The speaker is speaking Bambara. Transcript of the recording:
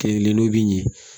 Kelen kelen n'o bi ɲɛ